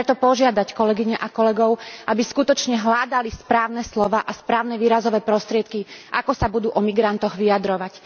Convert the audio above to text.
Chcem preto požiadať kolegyne a kolegov, aby skutočne hľadali správne slová a správne výrazové prostriedky, ako sa budú o migrantoch vyjadrovať.